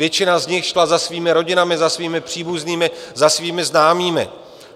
Většina z nich šla za svými rodinami, za svými příbuznými, za svými známými.